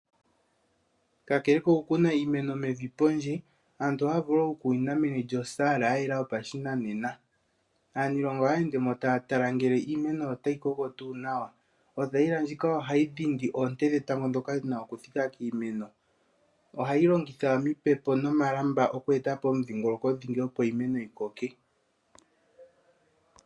Kakele kokukuna iimeno mevi pondje, aantu ohaya vulu okukunina meni lyosaala yayela yopashinanena. Aanilonga ohaya ende mo taya tala ngele iimeno otayi koko tuu nawa. Othayila ndjika ohayi dhindi oonte dhetango ndhoka dhina okuthika kiimeno. Ohayi longitha omipepo nomalamba oku etapo omudhingolokodhingi opo iimeno yi koke.